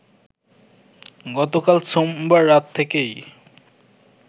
গতকাল সোমবার রাত থেকেই